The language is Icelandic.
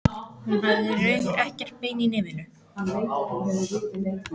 Hún hafði í rauninni ekkert bein í nefinu.